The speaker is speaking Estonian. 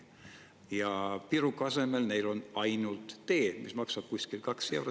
Ja piruka asemel neil on ainult tee, mis maksab kuskil 2 eurot.